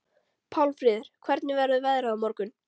Pálmfríður, hvernig verður veðrið á morgun?